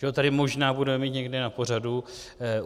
Že ho tady možná budeme mít někdy na pořadu.